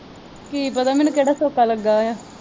ਕੀ ਪਤਾ ਮੈਨੂੰ ਕਿਹੜਾ ਲੱਗਾ ਹੋਇਆ।